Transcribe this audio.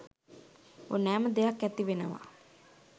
ඕනෑම දෙයක් ඇති වෙනවා